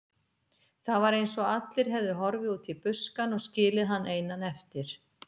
Það var eins og allir hefðu horfið út í buskann og skilið hann einan eftir.